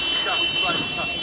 Söndürün, söndürün.